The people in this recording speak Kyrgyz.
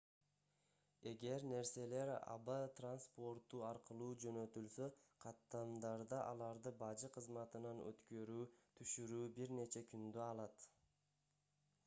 эгер нерселер аба транспорту аркылуу жөнөтүлсө каттамдарда аларды бажы кызматынан өткөрүү түшүрүү бир нече күндү алат